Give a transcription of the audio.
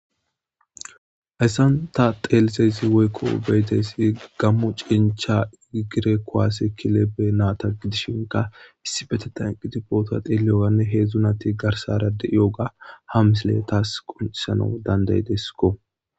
Hayssanta teelisezi woykko beetesi gammo cincha igire koaasse kilebe naata gidishinka issi bete tanqiti boota deeliyoganne heedzdzunati garsara de7iyoga ha misile taas qoncisana danday deskko